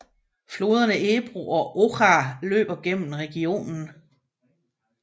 Floderne Ebro og Oja løber gennem regionen